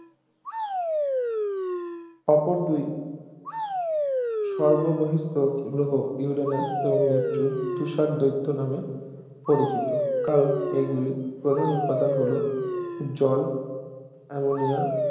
অপর দুই সর্ববহিঃস্থ গ্রহ ইউরেনাস ও নেপচুন তুষার দৈত্য নামে পরিচিত কারণ এগুলির প্রধান উপাদান হল জল অ্যামোনিয়া